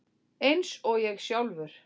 Eins og ég sjálfur.